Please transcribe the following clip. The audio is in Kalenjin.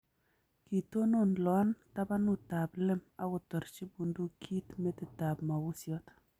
Kitonon Loan tabanut ab Lem akotarchi bundukinyi metit ab mabusiot